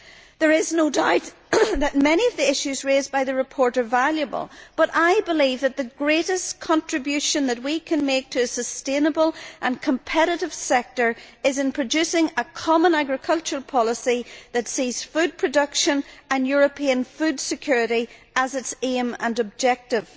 There is no doubt that many of the issues raised by the report are valuable, but I believe that the greatest contribution that we can make to a sustainable and competitive sector is in producing a common agricultural policy that sees food production and European food security as its aim and objective.